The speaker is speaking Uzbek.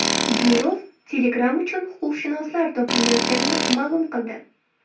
Durov Telegram uchun huquqshunoslar to‘planayotganini ma’lum qildi.